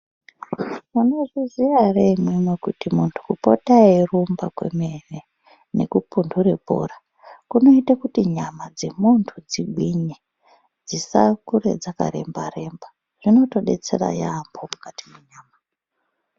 Munozviziya ere imimi kuti muntu kupota eyirumba kwemene nekupunure bhora kunoita kuti nyama dzemuntu dzigwinye dzisa kure dzaka remba remba zvinoto detsera yambo mukati menyama.